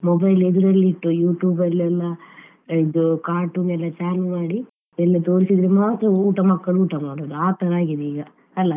Mobile ಅನ್ನು ಎದುರಲ್ಲಿ ಇಟ್ಟು YouTube ಅಲ್ಲೆಲ್ಲ ಇದು cartoon ಎಲ್ಲ ಚಾಲು ಮಾಡಿ ಎಲ್ಲ ತೋರಿಸಿದ್ರೆ ಮಾತ್ರ ಊಟ ಮಕ್ಕಳು ಊಟ ಮಾಡುದು ಆ ತರ ಆಗಿದೆ ಈಗ ಅಲಾ.